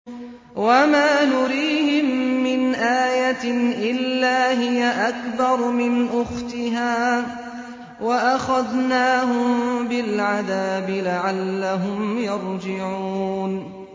وَمَا نُرِيهِم مِّنْ آيَةٍ إِلَّا هِيَ أَكْبَرُ مِنْ أُخْتِهَا ۖ وَأَخَذْنَاهُم بِالْعَذَابِ لَعَلَّهُمْ يَرْجِعُونَ